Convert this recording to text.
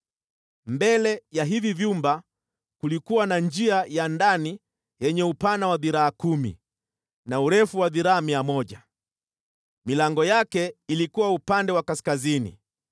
Mbele ya hivi vyumba kulikuwa na njia ya ndani yenye upana wa dhiraa kumi na urefu wa dhiraa mia moja. Milango yake ilikuwa upande wa kaskazini.